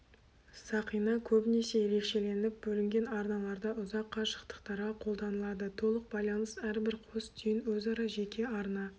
сақина көбінесе ерекшеленіп бөлінген арналарда ұзақ қашықтықтарға қолданылады толық байланыс әрбір қос түйін өзара жеке арна